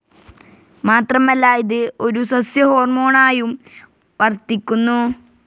മാത്രമല്ല ഇത് ഒരു സസ്യ ഹോ‍ർമോണായും വർത്തിക്കുന്നു.